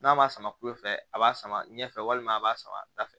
N'a ma sama kule fɛ a b'a sama ɲɛfɛ walima a b'a sama da fɛ